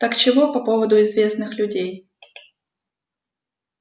так чего по поводу известных людей